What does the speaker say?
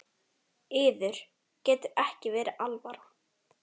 Yður getur ekki verið alvara?